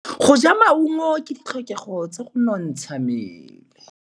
Go ja maungo ke ditlhokegô tsa go nontsha mmele.